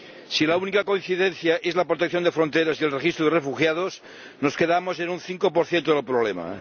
Si la única coincidencia es la protección de fronteras y el registro de refugiados, nos quedamos en un 5 del problema.